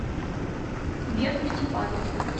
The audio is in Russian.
верку степанову